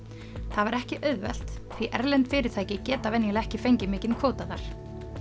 það var ekki auðvelt því erlend fyrirtæki geta venjulega ekki fengið mikinn kvóta þar